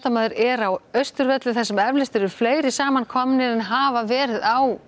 er á Austurvelli þar sem eflaust eru fleiri saman komnir en hafa verið á